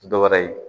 Ti dɔwɛrɛ ye